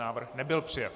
Návrh nebyl přijat.